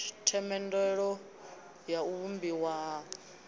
themendelo ya u vhumbiwa ha